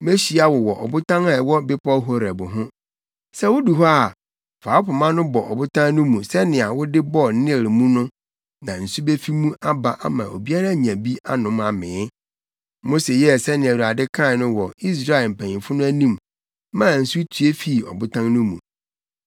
Mehyia wo wɔ ɔbotan a ɛwɔ bepɔw Horeb ho. Sɛ wudu hɔ a, fa wo pema no bɔ ɔbotan no mu sɛnea wode bɔɔ Nil mu no na nsu befi mu aba ama obiara anya bi anom amee.” Mose yɛɛ nea Awurade kae no wɔ Israel mpanyimfo no anim maa nsu tue fii ɔbotan no mu.